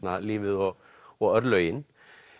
lífið og og örlögin